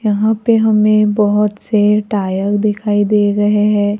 यहां पे हमें बहोत से टायर दिखाई दे रहे हैं।